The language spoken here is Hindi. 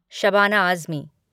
शबाना आज़मी